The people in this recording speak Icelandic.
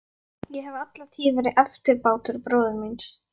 Ég hef alla tíð verið eftirbátur bróður míns.